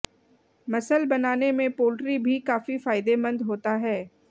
muscle बनाने में poultry भी काफी फायदेमंद होता है